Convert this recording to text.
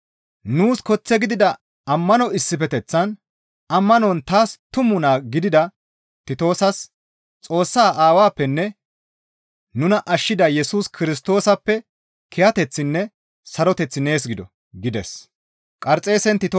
Nuus koththe gidida ammano issifeteththaan, ammanon taas tumu naa gidida Titoosas, «Xoossaa Aawappenne nuna ashshida Yesus Kirstoosappe kiyateththinne saroteththi nees gido» gides.